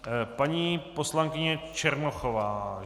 Paní poslankyně Černochová.